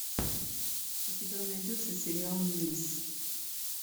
у тебя найдется сериал нильс